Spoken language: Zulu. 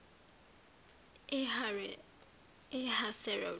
ehaseroti